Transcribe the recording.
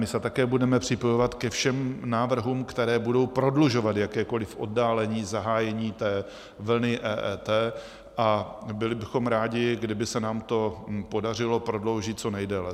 My se také budeme připojovat ke všem návrhům, které budou prodlužovat jakékoliv oddálení zahájení té vlny EET, a byli bychom rádi, kdyby se nám to podařilo prodloužit co nejdéle.